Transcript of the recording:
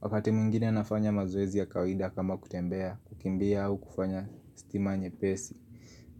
Wakati mwingine nafanya mazoezi ya kawida kama kutembea, kukimbia au kufanya stima nyepesi.